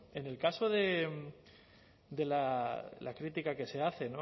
en el caso de la crítica que se hace